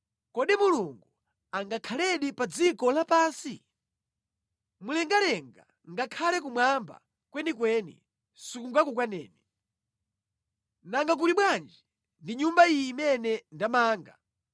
“Kodi Mulungu angakhaledi pa dziko lapansi ndi munthu? Mlengalenga ngakhale kumwamba kwenikweni sikungakukwaneni. Nanga kuli bwanji ndi Nyumba iyi imene ndamanga!